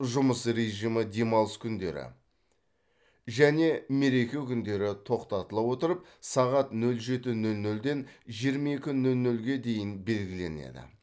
жұмыс режимі демалыс күндері және мереке күндері тоқтатыла отырып сағат нөл жеті нөл нөлден жиырма екі нөл нөлге дейін белгіленеді